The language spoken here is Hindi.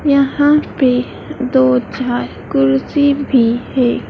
यहाँ पे दो चार कुर्सी भी है।